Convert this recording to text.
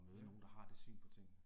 Ja